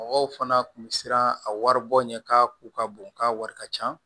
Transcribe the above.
Mɔgɔw fana kun bɛ siran a wari bɔ ɲɛ k'a ko ka bon k'a wari ka ca